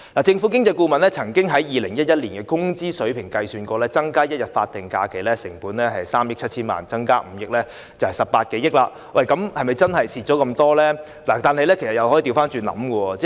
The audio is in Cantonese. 政府經濟顧問曾經按2011年工資水平，計算出增加1天法定假日的成本是3億 7,000 萬元，而增加5天就是18多億元，但是否真的有損失呢？